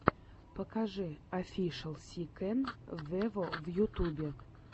покажи офишел си кэн вево в ютюбе